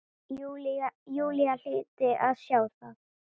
Júlía hlyti að sjá það.